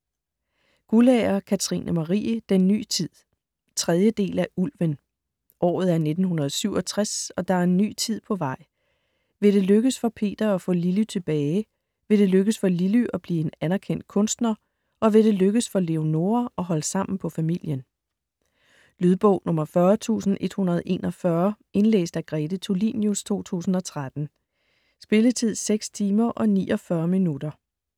Guldager, Katrine Marie: Den ny tid 3. del af Ulven. Året er 1967 og der er en ny tid på vej. Vil det lykkes for Peter at få Lilly tilbage, vil det lykkes for Lilly at blive en anerkendt kunstner og vil det lykkes for Leonora at holde sammen på familien? Lydbog 40141 Indlæst af Grete Tulinius, 2013. Spilletid: 6 timer, 49 minutter.